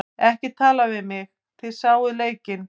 Ekki tala við mig, þið sáuð leikinn.